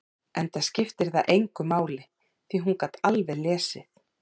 Enda skipti það engu máli, því að hún gat alveg lesið.